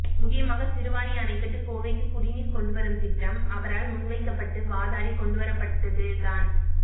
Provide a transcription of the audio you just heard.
முக்கியமாக சிறுவாணி அணைகட்டி கோவைக்கு குடிநீர் கொண்டுவரும் திட்டம் அவரால் முன்வைக்கப்பட்டு வாதாடி கொண்டுவரப்பட்டது தான்